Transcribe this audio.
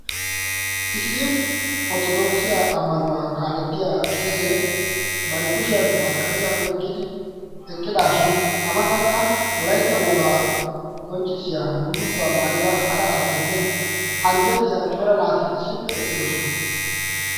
issi ortodooksiya ammanuwaa kaalettiya qeesee barikushiyan masqqaliyaa oiqqidi eqqidaashin amatankka ulaitta wogaa qonccissiya bullukuwaa maayida hara asatinne anjjettiya cora naati issippe eqqidosona